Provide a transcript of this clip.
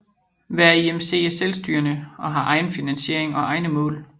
Hver IMC er selvstyrende og har egen finansiering og egne mål